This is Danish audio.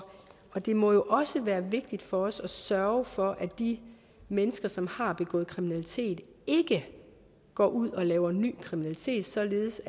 og det må jo også været vigtigt for os at sørge for at de mennesker som har begået kriminalitet ikke går ud og laver ny kriminalitet således